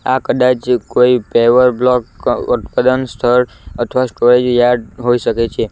આ કદાચ કોઈ પેવર બ્લોક અહ સ્થળ અથવા સ્ટોરેજ યાર્ડ હોઈ શકે છે.